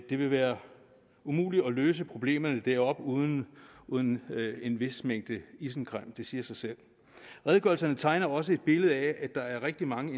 det vil være umuligt at løse problemerne deroppe uden uden en vis mængde isenkram det siger sig selv redegørelserne tegner også et billede af at der er rigtig mange